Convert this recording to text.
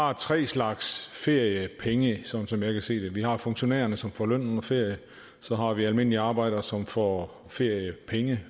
har tre slags feriepenge sådan som jeg kan se det vi har funktionærerne som får løn under ferie så har vi almindelige arbejdere som får feriepenge